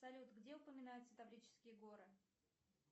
салют где упоминаются таврические горы